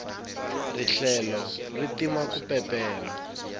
rihlelo ri tirha ku peperha